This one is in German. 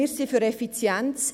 Wir sind für Effizienz.